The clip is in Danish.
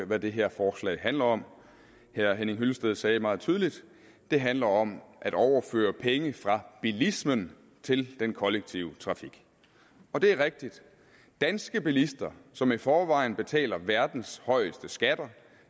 hvad det her forslag handler om herre henning hyllested sagde meget tydeligt at det handler om at overføre penge fra bilismen til den kollektive trafik og det er rigtigt danske bilister som i forvejen betaler verdens højeste skatter